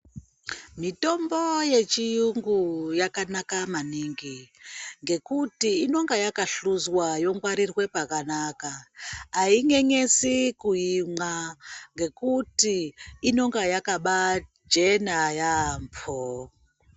Mitombo yechiyungu yakanaka maningi ,ngekuti inonga yakahluzwa yongwarirwe pakanaka. Ayinyenyesi kuimwa ngekuti, inonga yakabaachena yaampho.